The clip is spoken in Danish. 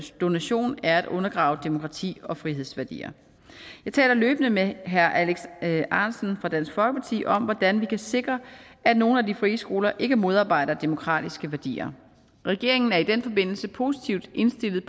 donationen er at undergrave demokrati og frihedsværdier jeg taler løbende med herre alex ahrendtsen fra dansk folkeparti om hvordan vi kan sikre at nogle af de frie skoler ikke modarbejder demokratiske værdier regeringen er i den forbindelse positivt indstillet